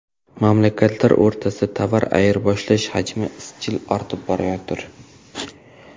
Mamlakatlar o‘rtasida tovar ayirboshlash hajmi izchil ortib borayotir.